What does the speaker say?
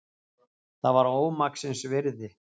Það var ómaksins virði.